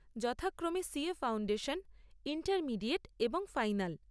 যথাক্রমে CA foundation, intermediate এবং final.